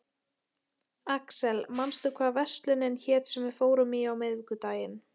Axel, manstu hvað verslunin hét sem við fórum í á miðvikudaginn?